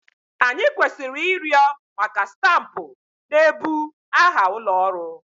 Anyị kwesịrị ịrịọ maka stampụ na-ebu aha ụlọ ọrụ.